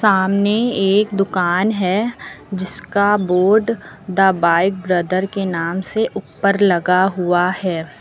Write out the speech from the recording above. सामने एक दुकान है जिसका बोर्ड द बाइक ब्रदर के नाम से उप्पर लगा हुआ है।